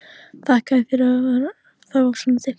Þakkaði fyrir að það var svona dimmt.